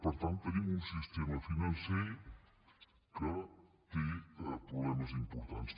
per tant tenim un sistema financer que té problemes importants